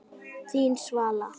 Þín, Svala.